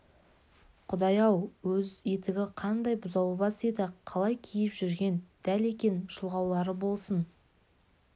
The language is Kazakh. құдай-ау өз етігі қандай бұзаубас еді қалай киіп жүрген дәл екен шұлғаулары болсын